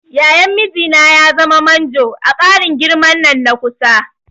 Yayan mijina ya zama manjo a ƙarin girman nan na kusa.